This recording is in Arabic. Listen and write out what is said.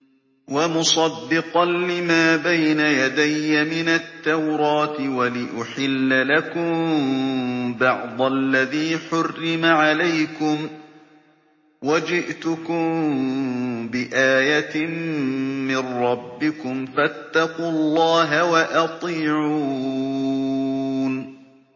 وَمُصَدِّقًا لِّمَا بَيْنَ يَدَيَّ مِنَ التَّوْرَاةِ وَلِأُحِلَّ لَكُم بَعْضَ الَّذِي حُرِّمَ عَلَيْكُمْ ۚ وَجِئْتُكُم بِآيَةٍ مِّن رَّبِّكُمْ فَاتَّقُوا اللَّهَ وَأَطِيعُونِ